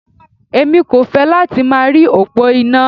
Èmi kò fẹ́ láti máa rí òpó iná.